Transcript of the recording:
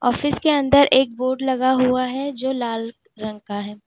इसके अंदर एक बोर्ड लगा हुआ है जो लाल रंग का है।